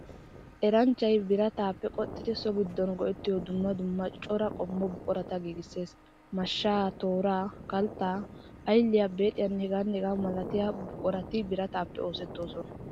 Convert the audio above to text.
Eranchchay birataappe qoxxidi so giddon go'ettiyo dumma dumma cora qommo buqurata giigissees. Mashshaa, tooraa, kalttaa, aylliyaa, beexiyaanne... h.h.m buqurati birataappe oosettoosona.